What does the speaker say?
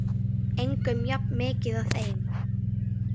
Engum jafn mikið og þeim.